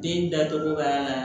Den datugu ka